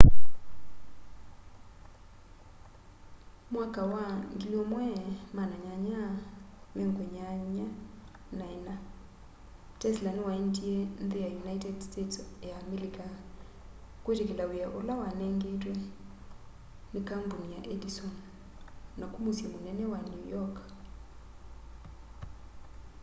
mwaka wa 1884 tesla nĩwaendie nthĩ ya united states ya amelika kwĩtĩkĩla wĩa ũla wanenganĩtwe nĩ kambunĩ ya edison naku mũsyĩ mũnene wa new york